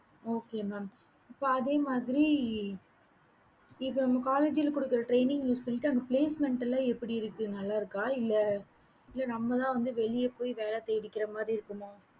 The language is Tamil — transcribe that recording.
okay mam இப்ப அதே மாதிரி இது உங்கள college குடுக்கற training சொல்லிட்டு அங்க placement எப்படி இருக்கு நல்ல இருக்க இல்ல நம்பால வெளில போய் வேல தேடிக்கற மாறி இருக்குமா